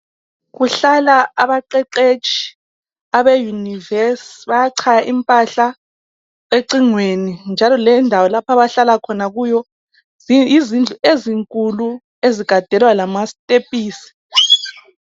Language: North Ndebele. Kuhlala abaqeqetshi abeyunivesi , bayachaya impahla econhweni njalo lendawo lapho abahlala khona kiyo yizindlu ezinkulu ezigadelwa lamasitephisi.